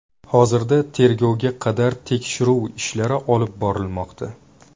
Hozirda tergovga qadar tekshiruv ishlari olib borilmoqda.